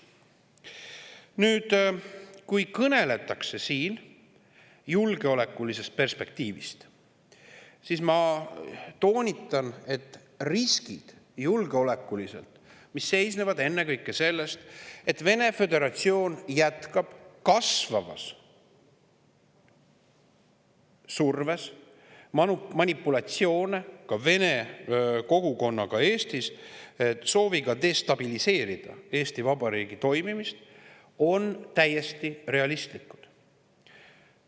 Kui siin kõneletakse julgeolekulisest perspektiivist, siis ma toonitan, et julgeolekulised riskid, mis seisnevad ennekõike selles, et Vene föderatsioon jätkab kasvava survega manipulatsioone vene kogukonnaga Eestis, soovides destabiliseerida Eesti Vabariigi toimimist, on täiesti realistlikud.